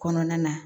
Kɔnɔna na